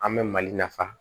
An bɛ mali nafa